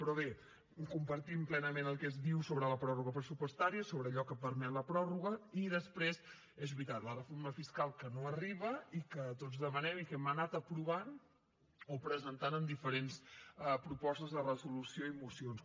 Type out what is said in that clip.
però bé compartim plenament el que es diu sobre la pròrroga pressupostària i sobre allò que permet la pròrroga i després és veritat la reforma fiscal que no arriba i que tots demanem i que hem anat aprovant o presentant en diferents propostes de resolució i mocions